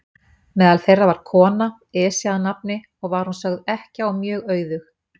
Meðal þeirra var kona, Esja að nafni, og var hún sögð ekkja og mjög auðug.